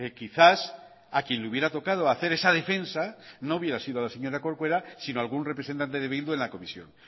quizás a quien le hubiera tocado hacer esa defensa no hubiera sido la señora corcuera sino a algún representante de bildu en la comisión